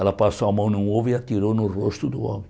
Ela passou a mão num ovo e atirou no rosto do homem.